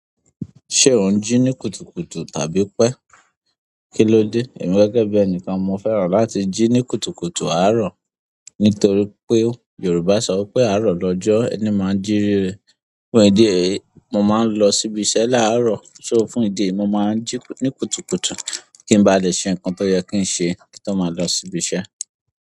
Ṣé ò ń jí ní kùtùkùtù tàbí pẹ́, kílódé? Èmi gẹ́gẹ́ bí ẹni kan mo fẹ́ràn láti jí ní kùtùkùtù àárọ̀. Nítorí pé Yorùbá sọ pé "àárọ̀ lọ́jọ́ ẹni máa ń jí ríre". Fún ìdí èyí, mo máa ń lọ síbi iṣẹ́ láàárọ̀ so fún ìdí èyí, mo màa ń jí ní kùtùkùtù kí n ba lè ṣe nǹkan tí ó yẹ kí n ṣe kí ń tó máa lọ sí ibi iṣẹ́.